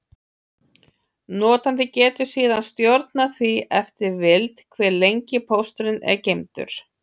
Notandi getur síðan stjórnað því eftir vild, hve lengi pósturinn er geymdur.